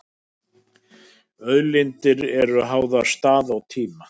Auðlindir eru háðar stað og tíma.